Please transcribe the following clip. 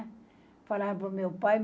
Falaram para o meu pai.